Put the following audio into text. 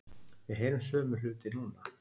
Við heyrum sömu hluti núna